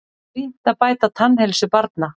Brýnt að bæta tannheilsu barna